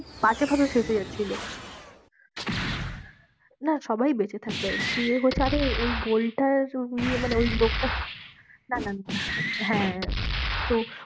বাজেভাবে ফেঁসে যাচ্ছিলো না সবাই বেঁচে থাকবে, দিয়ে হচ্ছে আরে ওই gold টা নিয়ে মানে ওই লোকটা না না না হ্যাঁ, তো